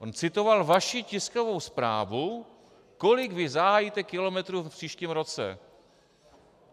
On citoval vaši tiskovou zprávu, kolik vy zahájíte kilometrů v příštím roce.